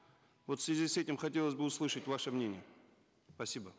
вот в связи с этим хотелось бы услышать ваше мнение спасибо